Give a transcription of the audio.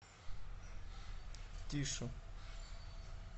тише